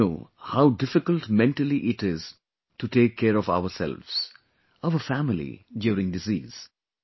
we all know how difficult mentally it is to take care of ourselves, our family during disease